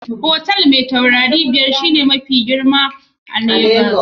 Otal Mai tauraru biyar ba shine otal mafi girma a Lagos ba.